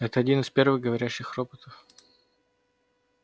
это один из первых говорящих роботов